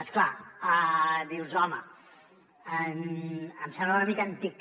és clar dius home em sembla una mica antic